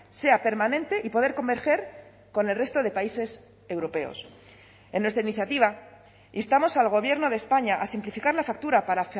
sea permanente y poder converger con el resto de países europeos en nuestra iniciativa instamos al gobierno de españa a simplificar la factura para